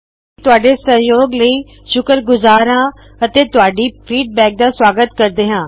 ਅਸੀ ਤੁਹਾੱਡੇ ਸਹਜੋਗ ਲਈ ਸ਼ੁਕਰਗੁਜਾਰ ਹਾ ਅਤੇ ਤੁਹਾਡੀ ਪ੍ਰਤਿਕ੍ਰਿਆ ਦਾ ਸਵਾਗਤ ਕਰਦੇ ਹਾ